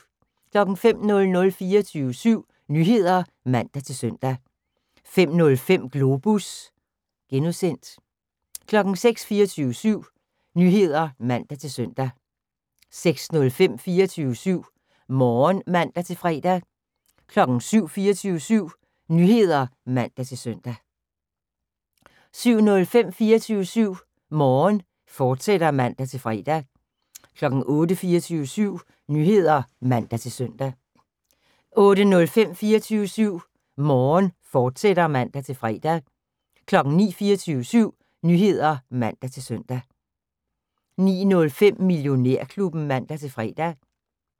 05:00: 24syv Nyheder (man-søn) 05:05: Globus (G) 06:00: 24syv Nyheder (man-søn) 06:05: 24syv Morgen (man-fre) 07:00: 24syv Nyheder (man-søn) 07:05: 24syv Morgen, fortsat (man-fre) 08:00: 24syv Nyheder (man-søn) 08:05: 24syv Morgen, fortsat (man-fre) 09:00: 24syv Nyheder (man-søn) 09:05: Millionærklubben (man-fre)